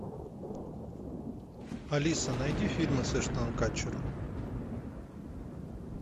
алиса найди фильмы с эштоном катчером